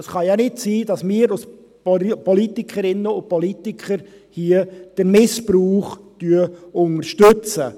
Es kann nicht sein, dass wir als Politikerinnen und Politiker den Missbrauch unterstützen.